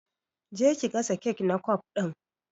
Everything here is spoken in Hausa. Je ki gasa kek na kwaf din!